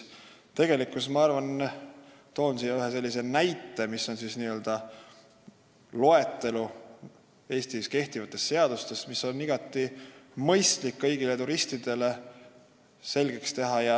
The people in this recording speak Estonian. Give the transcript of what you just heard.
Ma toon selle peale ühe näite: see on loetelu Eestis kehtivatest seadustest, mis on igati mõistlik kõigile turistidele selgeks teha.